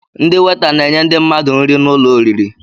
Ndị weeta na-enye ndi mmadụ nri n'ụlọ oriri